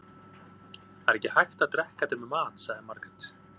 Það er ekki hægt að drekka þetta með mat, sagði Margrét.